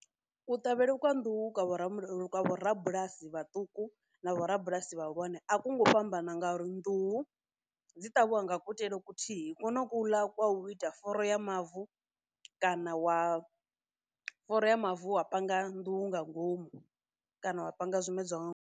Kuṱavhele kwa nḓuhu kwavho vho rabulasi vhaṱuku na vho rabulasi vhahulwane a ku ngou fhambana ngauri nḓuhu dzi ṱavhiwa nga kuitele kuthihi kono kuḽa kwa u ita foro ya mavu kana wa foro ya mavu wa panga nḓuhu nga ngomu kana wa panga zwimedzwa nga ngomu.